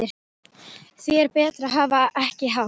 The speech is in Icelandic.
Því er betra að hafa ekki hátt.